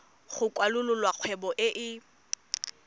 go kwalolola kgwebo e e